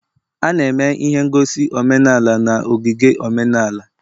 A na-eme ihe ngosi omenala na ogige omenala